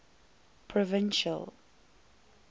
provincial